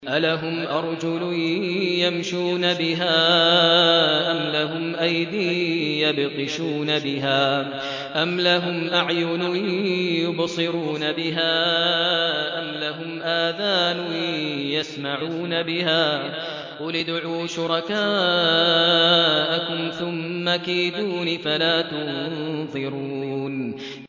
أَلَهُمْ أَرْجُلٌ يَمْشُونَ بِهَا ۖ أَمْ لَهُمْ أَيْدٍ يَبْطِشُونَ بِهَا ۖ أَمْ لَهُمْ أَعْيُنٌ يُبْصِرُونَ بِهَا ۖ أَمْ لَهُمْ آذَانٌ يَسْمَعُونَ بِهَا ۗ قُلِ ادْعُوا شُرَكَاءَكُمْ ثُمَّ كِيدُونِ فَلَا تُنظِرُونِ